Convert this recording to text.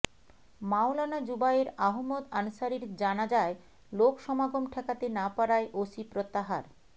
মাওলানা যুবায়ের আহমদ আনসারীর জানাজায় লোক সমাগম ঠেকাতে না পারায় ওসি প্রত্যাহার